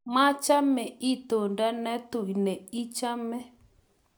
machame itondo ne tui ne ichome